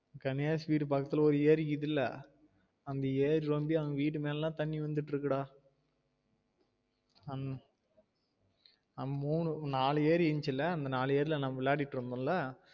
கணேஷ் வீடு பக்கத்துல ஒரு ஏரி இக்கிதுல அந்த ஏரி வந்து அவங்க வீட்டு மேல லாம் தண்ணி வந்துட்டு இருக்குது டா உம் அஹ் மூணு நாலு ஏரி இருந்ச்சுல அந்த நாலு ஏரி ல நம்ம விளையாடிட்டு இருந்தோம் ல